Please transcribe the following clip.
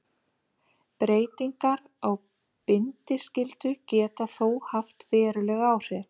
Breytingar á bindiskyldu geta þó haft veruleg áhrif.